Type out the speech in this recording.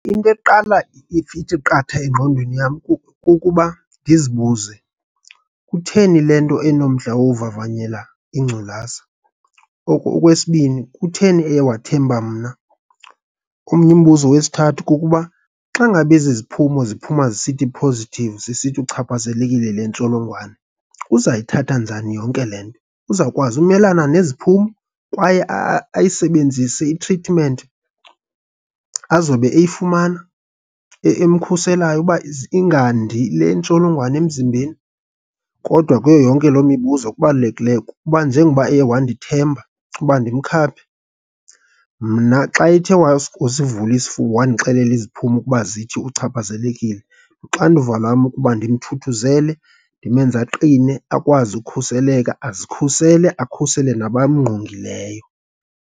Into eqala ithi qatha engqondweni yam kukuba ndizibuze kutheni le nto enomdla wovavanyela ingculaza. Okwesibini, kutheni eye wathemba mna. Omnye umbuzo wesithathu kukuba, xa ngaba ezi iziphumo ziphuma zisithi positive, zisithi uchaphazelekile yile ntsholongwane, uzayithatha njani yonke le nto. Uzawukwazi ukumelana neziphumo, kwaye ayisebenzise i-treatment azobe eyifumana emkhuselayo ukuba ize ingandi le ntsholongwane emzimbeni? Kodwa kuyo yonke loo mibuzo okubalalekileyo kukuba njengoba eye wandithemba ukuba ndimkhaphe, mna xa ethe wasivula isifuba, wandixelela iziphumo ukuba zithi uchaphazelekile, luxanduva lwam ukuba ndimthuthuzele ndimenze aqine, akwazi ukukhuseleka. Azikhusele, akhusele nabamngqongileyo.